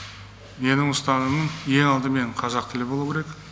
менің ұстанымым ең алдымен қазақ тілі болу керек